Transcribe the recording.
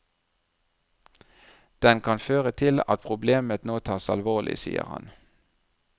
Den kan føre til at problemet nå tas alvorlig, sier han.